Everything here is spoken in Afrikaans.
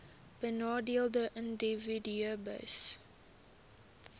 benadeelde individue hbis